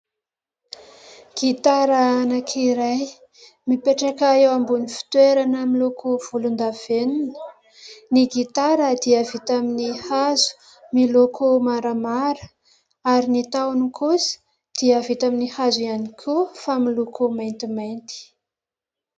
Gitara anankiray mipetraka eo ambony fitoerana miloko volondavenona. Ny gitara dia vita amin'ny hazo miloko maramara ary ny tahony kosa dia vita amin'ny hazo ihany koa fa miloko maintimainty.